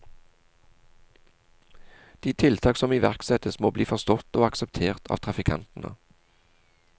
De tiltak som iverksettes, må bli forstått og akseptert av trafikantene.